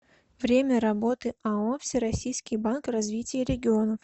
время работы ао всероссийский банк развития регионов